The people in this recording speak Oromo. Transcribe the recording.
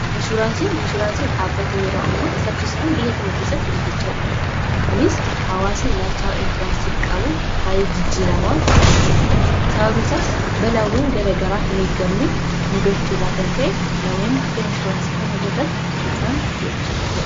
Inshuraansiin dhaabbata yeroo ammaa saffisaan biyya keenya keessatti guddachaa dhufeedha kunis hawaasni ilaalcha inshuraansiif qabu baay, ee jijjiiramaa kan dhufeedha sababni isaas balaawwan gara garaa hin eeggamne muudachuurraa kan ka'e namoonni akka inshuraansii kana qabaatan isaan goche.